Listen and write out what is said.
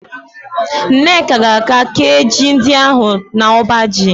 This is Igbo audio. Nneka ga-eje kéé ji ndị ahụ n'ọbaji.